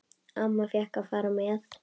Amma fékk að fara með.